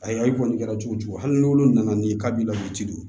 Ayiwa i kɔni kɛra cogo cogo hali n'olu nana n'i k'a b'i la ci don